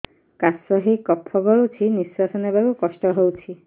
କାଶ ହେଇ କଫ ଗଳୁଛି ନିଶ୍ୱାସ ନେବାକୁ କଷ୍ଟ ହଉଛି